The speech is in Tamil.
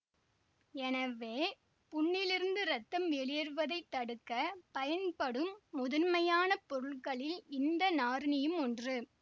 எனவே புண்ணிலிருந்து இரத்தம் வெளியேறுவதை தடுக்க பயன்படும் முதன்மையான பொருட்களில் இந்த நாரீனியும் ஒன்று